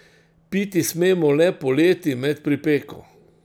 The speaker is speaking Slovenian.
Piti smemo le poleti med pripeko.